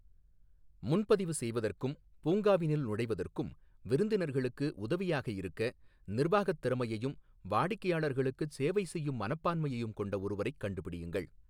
முன்பதிவு செய்வதற்கும், பூங்காவினுள் நுழைவதற்கும் விருந்தினர்களுக்கு உதவியாக இருக்க, நிர்வாகத் திறமையையும் வாடிக்கையாளர்களுக்குச் சேவை செய்யும் மனப்பான்மையையும் கொண்ட ஒருவரைக் கண்டுபிடியுங்கள்.